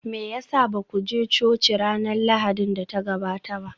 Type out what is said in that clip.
Me ya sa ba ku je coci ranar Lahadin da ta gabata ba?